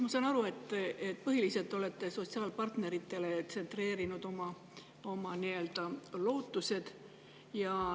Ma saan aru, et põhiliselt olete te tsentreerinud oma lootused sotsiaalpartneritele.